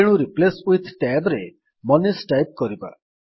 ତେଣୁ replace with tab ରେ ମନିଷ ଟାଇପ୍ କରିବା